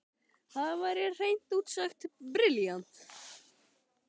Það væri hreint út sagt brilljant!